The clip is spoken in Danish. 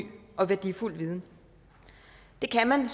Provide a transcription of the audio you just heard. og værdifuld viden det kan man